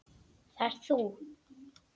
Það ert þú!